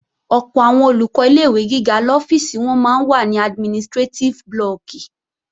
Ọ̀pọ̀ àwọn Olùkọ́ ilé-ìwé gíga lọ́fíìsì wọn máa ń wà ní administrétíf blọọ̀kì